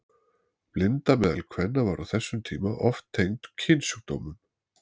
Blinda meðal kvenna var á þessum tíma oft tengd kynsjúkdómum.